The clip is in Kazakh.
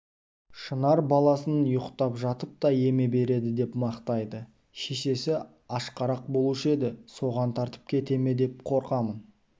шынар баласын ұйықтап жатып та еме береді деп мақтайды шешесі ашқарақ болушы еді соған тартып кете ме деп қорқамын